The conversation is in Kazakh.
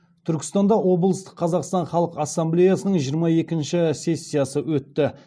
түркістанда облыстық қазақстан халқы ассамблеясының жиырма екінші сессиясы өтті